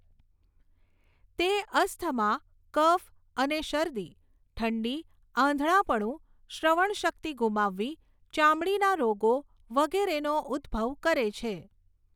તે અસ્થમા, કફ, અને શરદી ઠંડી આંધળાપણું શ્રવણશક્તિ ગુમાવવી ચામડીના રોગો વગેરેનો ઉદ્ભવ કરે છે.